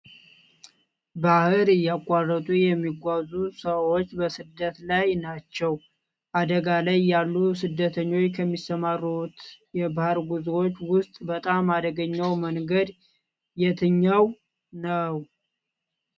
ባህር እያቃረጡ የሚጋዙ ሰወች በስደት ላይ ናቸው አደጋ ላይ ያሉ ስደተኞች ከሚሰማሩት የባህር ጉዞዎች ውስጥ በጣም አደገኛው መንገድ የትኛው ነው?